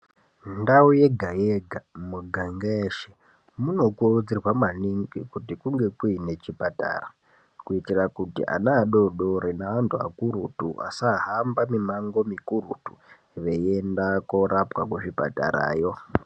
Ndau yega yega miganga yeshe munokurudzirwa maningi kuti kunge kuine chipatara kuitira kuti ana adoodori neantu akurutu asahamba mimango mikurutu veienda korapwa kuzvipatarayo .